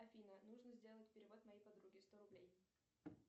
афина нужно сделать перевод моей подруге сто рублей